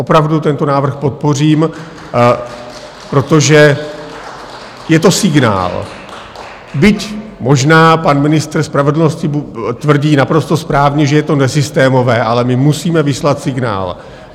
Opravdu tento návrh podpořím , protože je to signál, byť možná pan ministr spravedlnosti tvrdí naprosto správně, že je to nesystémové, ale my musíme vyslat signál.